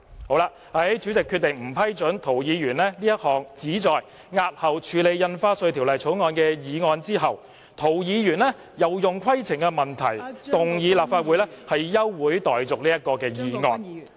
在主席決定不批准涂議員這項旨在押後處理《條例草案》的議案後，涂議員又以規程問題要求動議立法會休會待續議案......